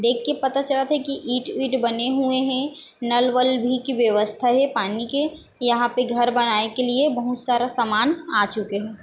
देखके पता चलत हे की ईट- वीट बने हुए हे नल- वल भी व्यवस्था हे पानी के यहाँ पे घर बनाये के लिए बहुत सारा सामान आ चके हे।